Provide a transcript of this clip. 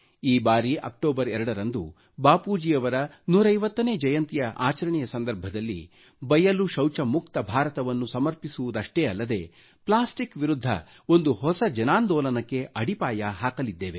ಈ ಬಾರಿ ಅಕ್ಟೋಬರ್ 2 ರಂದು ಬಾಪೂಜಿಯವರ 150 ನೇ ಜಯಂತಿ ಆಚರಣೆ ಸಂದರ್ಭದಲ್ಲಿ ಬಯಲು ಶೌಚ ಮುಕ್ತ ಭಾರತವನ್ನ ಸಮರ್ಪಿಸುವುದಷ್ಟೇ ಅಲ್ಲದೆ ಪ್ಲಾಸ್ಟಿಕ್ ವಿರುದ್ಧ ಒಂದು ಹೊಸ ಜನಾಂದೋಲನಕ್ಕೆ ಅಡಿಪಾಯ ಹಾಕಲಿದ್ದೇವೆ